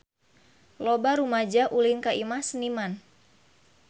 Loba rumaja ulin ka Imah Seniman